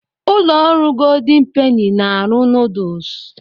Ụlọ ọrụ Goldin Peni na - arụ nuduls.